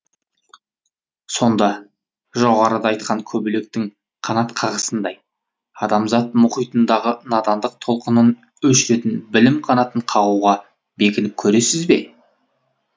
сонда жоғарыда айтқан көбелектің қанат қағысындай адамзат мұхитындағы надандық толқынын өшіретін білім қанатын қағуға бекініп көресіз бе